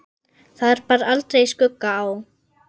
Þar bar aldrei skugga á.